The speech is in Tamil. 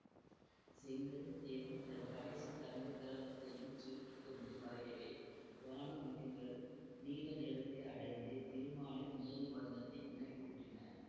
செங்கதிர்த் தேவன் தன் கடைசி தங்க கிரணத்தையும் சுருக்கி கொண்டு மறையவே வான முகில்கள் நீல நிறத்தை அடைந்து திருமாலின் மேனிவண்ணத்தை நினைவூட்டின